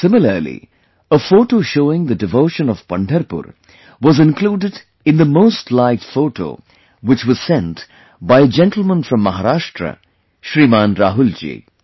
Similarly, a photo showing the devotion of Pandharpur was included in the most liked photo, which was sent by a gentleman from Maharashtra, Shriman Rahul ji